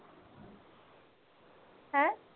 ਹੈਂ?